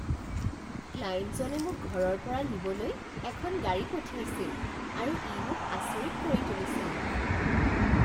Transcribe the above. ক্লায়েণ্টজনে মোক ঘৰৰ পৰা নিবলৈ এখন গাড়ী পঠিয়াইছিল আৰু ই মোক আচৰিত কৰি তুলিছিল।